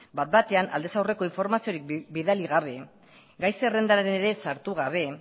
bat batean aldez aurreko informaziorik bidali gabe gai zerrendan ere sartu gabe